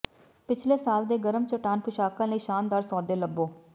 ਪਿਛਲੇ ਸਾਲ ਦੇ ਗਰਮ ਚੱਟਾਨ ਪੁਸ਼ਾਕਾਂ ਲਈ ਸ਼ਾਨਦਾਰ ਸੌਦੇ ਲੱਭੋ